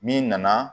Min nana